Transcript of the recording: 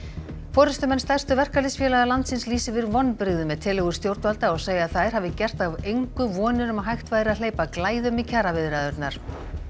forystumenn stærstu verkalýðsfélaga landsins lýsa yfir vonbrigðum með tillögur stjórnvalda og segja að þær hafi gert að engu vonir um að hægt væri að hleypa glæðum í kjaraviðræðurnar